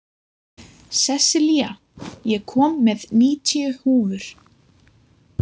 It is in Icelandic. Sessilía, ég kom með níutíu húfur!